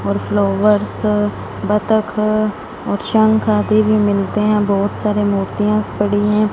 और फ्लावर्स बतख और शंक आदि भी मिलते है बहोत सारी मूर्तियांज पड़ी है।